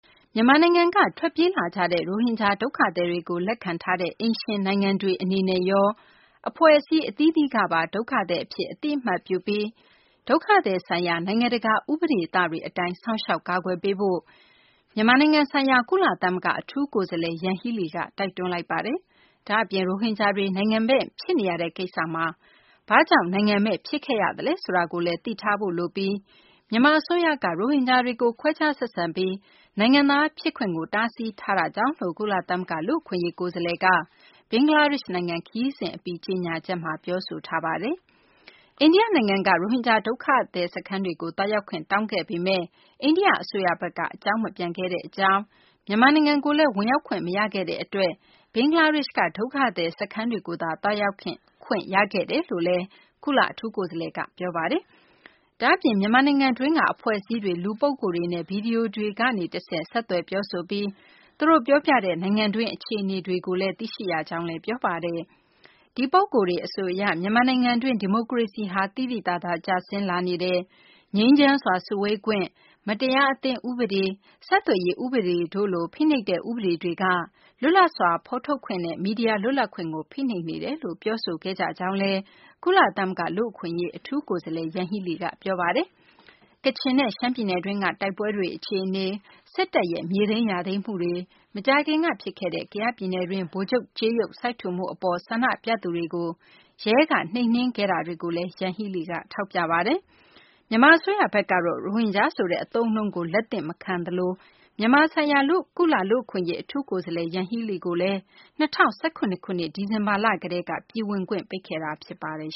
မြန်မာနိုင်ငံက ထွက်ပြေးလာကြတဲ့ ရိုဟင်ဂျာ ဒုက္ခသည်တွေကို လက်ခံထားတဲ့ အိမ်ရှင်နိုင်ငံတွေ အနေနဲ့ရော အဖွဲ့အစည်း အသီးသီးကပါ ဒုက္ခသည်အဖြစ် အသိအမှတ်ပြုပြီး၊ ဒုက္ခသည်ဆိုင်ရာ နိုင်ငံတကာ ဥပဒေသတွေအတိုင်း စောင့်ရှောက်ကာကွယ်ပေးဖို့ မြန်မာနိုင်ငံဆိုင်ရာ ကုလသမဂ္ဂ အထူးကိုယ်စားလှယ် ယန်ဟီးလီက တိုက်တွန်းလိုက်ပါတယ်။ ဒါ့အပြင် ရိုဟင်ဂျာတွေ နိုင်ငံမဲ့ ဖြစ်နေရတဲ့ ကိစ္စမှာ ဘာကြောင့် နိုင်ငံမဲ့ ဖြစ်ခဲ့ရသလဲ ဆိုတာကိုလည်း သိထားဖို့ လိုပြီး၊ မြန်မာ အစိုးရက ရိုဟင်ဂျာတွေကို ခွဲခြားဆက်ဆံပြီး နိုင်ငံသား ဖြစ်ခွင့်ကို တားဆီးထားတာကြောင့်လို့ ကုလသမဂ္ဂ လူ့အခွင့်အရေး ကိုယ်စားလှယ်က ဘင်္ဂလားဒေရှ့်နိုင်ငံ ခရီးစဉ် အပြီး ကြေညာချက်မှာ ပြောဆိုထားတာပါ။ အိန္ဒိယ နိုင်ငံက ရိုဟင်ဂျာ ဒုက္ခသည် စခန်းတွေကို သွားရောက်ခွင့် တောင်းခဲ့ပေမယ့် အိန္ဒိယ အစိုးရဘက်က အကြောင်းမပြန်ခဲ့ကြောင်း၊ မြန်မာနိုင်ငံကိုလည်း ဝင်ရောက်ခွင့် မရခဲ့တဲ့ အတွက် ဘင်္ဂလားဒေရှ့်က ဒုက္ခသည် စခန်းတွေကိုသာ သွားရောက်ခွင့် ရခဲ့ကြောင်းလည်း ကုလ အထူးကိုယ်စားလှယ်က ပြောပါတယ်။ ဒါပေမယ့် မြန်မာနိုင်ငံတွင်းက အဖွဲ့အစည်းတွေ လူပုဂ္ဂိုလ်တွေနဲ့ ဗွီဒီယိုကနေ တဆင့် ဆက်သွယ် ပြောဆိုပြီး သူတို့ ပြောပြတဲ့ နိုင်ငံတွင်း အခြေအနေတွေကို သိရှိရကြောင်းလည်း ပြောပါတယ်။ ဒီပုဂ္ဂိုလ်တွေ အဆိုအရ မြန်မာနိုင်ငံတွင်း ဒီမိုကရေစီဟာ သိသိသာသာ ကျဆင်းလာနေတယ်၊ ငြိမ်းချမ်းစွာ စုဝေးခွင့်၊ မတရားအသင်း ဥပဒေ၊ ဆက်သွယ်ရေး ဥပဒေတို့လို ဖိနှိပ်တဲ့ ဥပဒေတွေက လွတ်လပ်စွာ ဖော်ထုတ်ခွင့်နဲ့ မီဒီယာ လွတ်လပ်ခွင့်ကို ဖိနှိပ်နေကြောင်း ပြောဆိုခဲ့ကြတယ်လို့လည်း ကုလသမဂ္ဂ လူ့အခွင့်အရေး အထူးကိုယ်စားလှယ် ယန်ဟီးလီက ပြောဆိုခဲ့ပါတယ်။ ကချင်နဲ့ ရှမ်းပြည်နယ်တွင်းက တိုက်ပွဲတွေ အခြေအနေ၊ စစ်တပ်ရဲ့ မြေသိမ်းယာသိမ်းမှုတွေ၊ မကြာခင်က ဖြစ်ခဲ့တဲ့ ကယားပြည်နယ်တွင်း ဗိုလ်ချုပ်ကြေးရုပ် စိုက်ထူမှု အပေါ် ဆန္ဒပြသူတွေကို ရဲက နှိမ်နှင်းခဲ့တာတွေကိုလည်း ယန်ဟီးလီက ထောက်ပြခဲ့ပါတယ်။ မြန်မာ အစိုးရဘက်ကတော့ ရိုဟင်ဂျာ ဆိုတဲ့ အသုံးအနှုန်းကို လက်သင့်ခံမထားသလို မြန်မာ ဆိုင်ရာ ကုလလူ့အခွင့်အရေး အထူးကိုယ်စားလှယ် ယန်ဟီးလီကို ၂၀၁၇ ခုနှစ် ဒီဇင်ဘာလ ကတည်းက ပြည်ဝင်ခွင့် ပိတ်ထားတာ ဖြစ်ပါတယ်